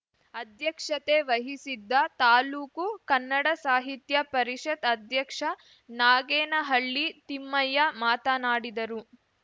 ಅಧ್ಯಕ್ಷತೆ ವಹಿಸಿದ್ದ ತಾಲೂಕು ಕನ್ನಡ ಸಾಹಿತ್ಯ ಪರಿಷತ್ ಅಧ್ಯಕ್ಷ ನಾಗೇನಹಳ್ಳಿ ತಿಮ್ಮಯ್ಯ ಮಾತನಾಡಿದರು